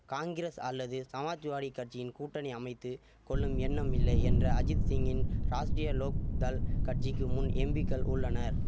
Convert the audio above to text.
காங்கிரஸ் அல்லது சமாஜ்வாடி கட்சியின் கூட்டணி அமைத்து கொள்ளும் எண்ணம் இல்லை என்ற அஜித் சிங்கின் ராஷ்ட்ரிய லோக் தள் கட்சிக்கு முன் எம்பிக்கள் உள்ளனர்